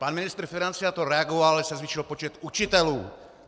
Pan ministr financí na to reagoval, že se zvýšil počet učitelů.